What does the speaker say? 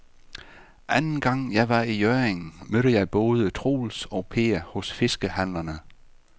Anden gang jeg var i Hjørring, mødte jeg både Troels og Per hos fiskehandlerne.